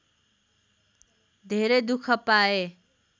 धेरै दुख पाए